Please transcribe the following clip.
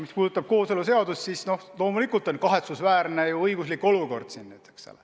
Mis puudutab kooseluseadust, siis loomulikult valitseb kahetsusväärne õiguslik olukord.